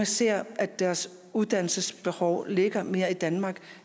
ser at deres uddannelsesbehov ligger mere i danmark